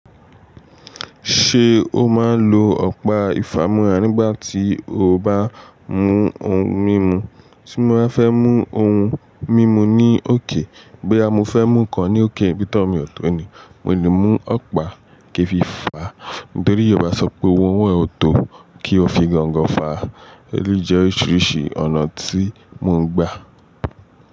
Ṣé o máa ń lo ọ̀pá ìfámúrà nígbà tí o bá mú ohun mímu? Tí mo bá fẹ́ mú ohun mímu ní òkè, boya mo fẹ́ mú ǹkan ní òkè, nbí tòwo mi ò tó ni, mo lè mú ọ̀pá kí fi fàá, nítorí yorubá sọ pé ohun owo e o tó kí o fi gongo fàá. Èleyí jẹ́ oríṣiríṣi ọ̀nà tí mò ń gbà.